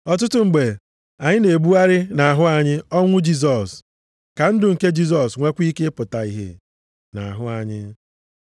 Ọtụtụ mgbe, anyị na-ebugharị nʼahụ anyị ọnwụ Jisọs, ka ndụ nke Jisọs nwekwa ike pụta ìhè nʼahụ anyị.